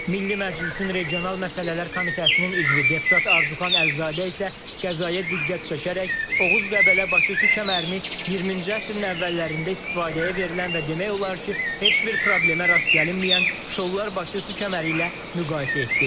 Milli Məclisin regional məsələlər komitəsinin üzvü deputat Arzuxan Əlizadə isə qəzaya diqqət çəkərək Oğuz Qəbələ Bakı su kəmərini 20-ci əsrin əvvəllərində istifadəyə verilən və demək olar ki, heç bir problemə rast gəlinməyən Şollar Bakı su kəməri ilə müqayisə etdi.